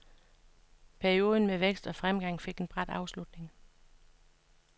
Perioden med vækst og fremgang fik en brat afslutning.